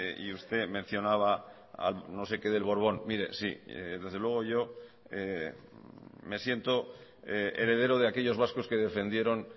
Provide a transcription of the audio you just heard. y usted mencionaba a no sé qué del borbón mire sí desde luego yo me siento heredero de aquellos vascos que defendieron